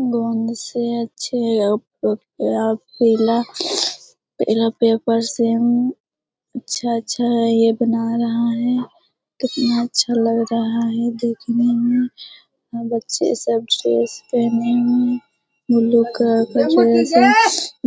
गोंद से अच्छे पहला पेपर से अच्छा-अच्छा ये बना रहा है कितना अच्छा लग रहा है देखने में बच्चे सब ड्रेस पहने हुए है